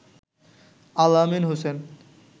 Al Amin Hossain